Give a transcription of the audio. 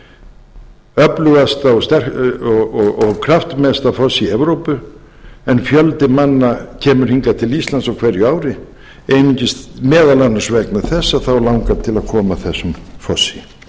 dettifossi öflugasta og kraftmesta fossi í evrópu en fjöldi manna kemur hingað til íslands á hverju ári meðal annars vegna þess að þá langar til að koma að þessum fossi